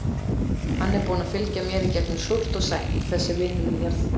Hann er búinn að fylgja mér í gegnum súrt og sætt, þessi vinur minn hérna.